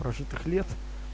прожитых лет